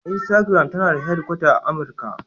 Instagram tana da hedkwata a Amurka.